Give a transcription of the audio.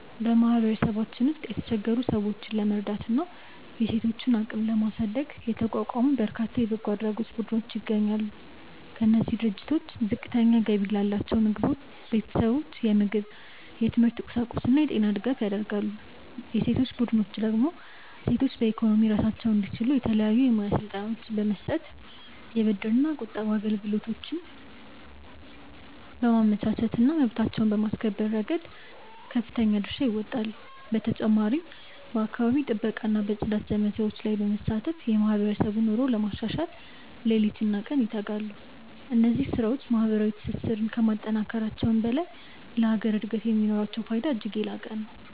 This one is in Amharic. በማህበረሰባችን ውስጥ የተቸገሩ ወገኖችን ለመርዳትና የሴቶችን አቅም ለማሳደግ የተቋቋሙ በርካታ የበጎ አድራጎት ቡድኖች ይገኛሉ። እነዚህ ድርጅቶች ዝቅተኛ ገቢ ላላቸው ቤተሰቦች የምግብ፣ የትምህርት ቁሳቁስና የጤና ድጋፍ ያደርጋሉ። የሴቶች ቡድኖች ደግሞ ሴቶች በኢኮኖሚ ራሳቸውን እንዲችሉ የተለያዩ የሙያ ስልጠናዎችን በመስጠት፣ የብድርና ቁጠባ አገልግሎቶችን በማመቻቸትና መብታቸውን በማስከበር ረገድ ከፍተኛ ድርሻ ይወጣሉ። በተጨማሪም በአካባቢ ጥበቃና በጽዳት ዘመቻዎች ላይ በመሳተፍ የማህበረሰቡን ኑሮ ለማሻሻል ሌሊትና ቀን ይተጋሉ። እነዚህ ስራዎች ማህበራዊ ትስስርን ከማጠናከራቸውም በላይ ለሀገር እድገት የሚኖራቸው ፋይዳ እጅግ የላቀ ነው።